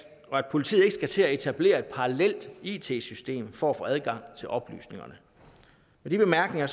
og at politiet ikke skal til at etablere et parallelt it system for at få adgang til oplysningerne med de bemærkninger